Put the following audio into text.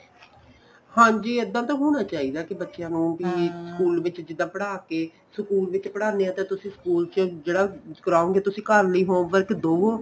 ਹਾਂਜੀ ਇੱਦਾਂ ਤਾਂ ਹੋਣਾ ਚਾਹੀਦਾ ਕੀ ਬੱਚਿਆਂ ਨੂੰ school ਵਿੱਚ ਜਿੱਦਾਂ ਪੜ੍ਹਾ ਕੇ school ਵਿੱਚ ਪੜ੍ਹਾਨੇ ਆ ਤਾਂ ਤੁਸੀਂ school ਚ ਜਿਹੜਾ ਕਰਾਉ ਗਏ ਤੁਸੀਂ ਘਰ ਨੀਂ ਹੋਊਗਾ ਇੱਕ ਦੂਰ